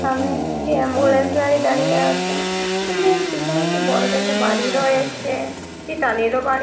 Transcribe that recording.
সামনে একটি অ্যাম্বুলেন্স গাড়ি দাঁড়িয়ে আছে উন পেছনে একটি বড় দেখে বাড়ি রয়েছে। একটি টালির ও বাড়ি--